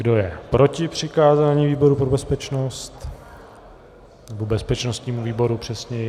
Kdo je proti přikázání výboru pro bezpečnost, nebo bezpečnostnímu výboru přesněji?